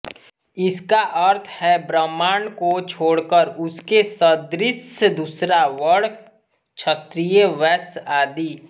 इसका अर्थ है ब्राह्मण को छोड़कर उसके सदृश दूसरा वर्ण क्षत्रिय वैश्य आदि